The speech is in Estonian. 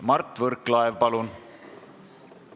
Mart Võrklaev, palun!